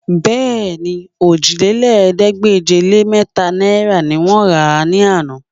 Bẹ́ẹ̀ni, òjìlélẹ́ẹ̀ẹ́dégbèje-lé-mẹ́ta náìrà ni wọ́n rà á ní àná